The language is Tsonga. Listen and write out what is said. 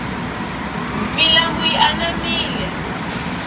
milambu yi anamile